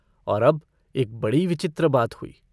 और अब एक बड़ी विचित्र बात हुई।